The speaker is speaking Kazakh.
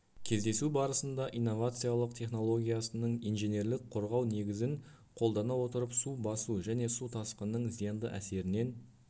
кездесу барысында инновациолық технологиясының инженерлік қорғау негізін қолдана отырып су басу және су тасқынының зиянды әсерінен